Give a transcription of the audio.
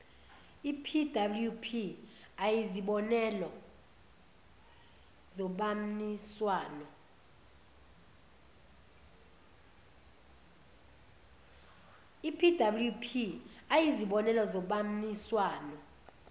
epwp ayizibonelo zobamniswano